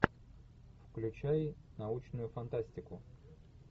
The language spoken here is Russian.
включай научную фантастику